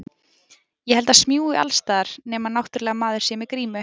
Ég held það smjúgi alls staðar, nema náttúrlega maður sé með grímu.